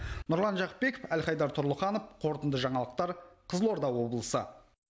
нұрлан жақыпбеков әлхайдар тұрлыханов қорытынды жаңалықтар қызылорда облысы